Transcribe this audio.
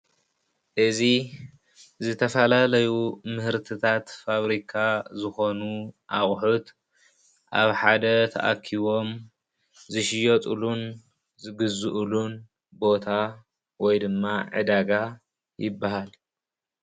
እዚ ዝተፈላለዩ ምህርትታት ፋብሪካ ዝኮኑ ኣቁሑት ኣብ ሓደ ተኣኪቦም ዝሽየጥሉን ዝግዝእሉን ቦታ ወይ ድማ ዕዳጋ ይበሃል ።